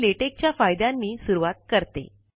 मी लेटेक च्या फायद्यांनी सुरूवात करते